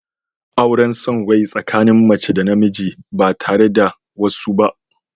Auren son rai tsakanin mace da namiji ba tare da wasu ba.